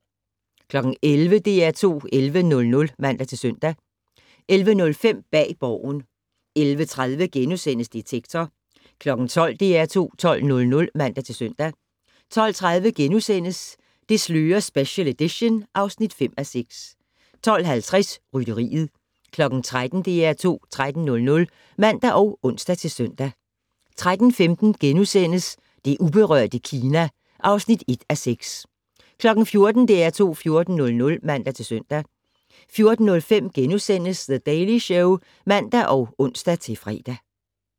11:00: DR2 11:00 (man-søn) 11:05: Bag Borgen 11:30: Detektor * 12:00: DR2 12:00 (man-søn) 12:30: Det slører special edition (5:6)* 12:50: Rytteriet 13:00: DR2 13:00 (man og ons-søn) 13:15: Det uberørte Kina (1:6)* 14:00: DR2 14:00 (man-søn) 14:05: The Daily Show *(man og ons-fre)